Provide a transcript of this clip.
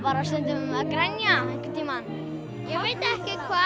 grenja einhvern tímann ég veit ekki hvað